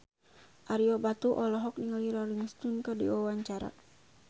Ario Batu olohok ningali Rolling Stone keur diwawancara